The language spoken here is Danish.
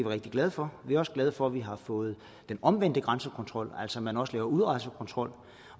rigtig glade for vi er også glade for at vi har fået den omvendte grænsekontrol altså at man også laver udrejsekontrol